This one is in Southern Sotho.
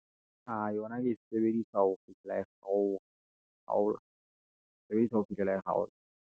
Aa, yona ke e sebedisa ho fihlela ho ke e sebediswa ho fihlela e .